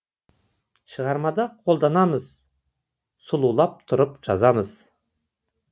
шығармада қолданамыз сұлулап тұрып жазамыз